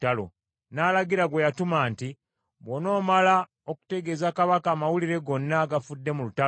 n’alagira gwe yatuma nti, “Bw’onoomala okutegeeza kabaka amawulire gonna agafudde mu lutalo,